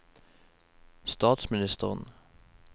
statsministeren